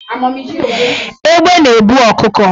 Egbe na-ebu ọkụkọ